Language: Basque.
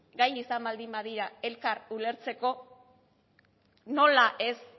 gai izan baldin badira elkar ulertzeko nola ez